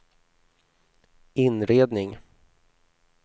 inredning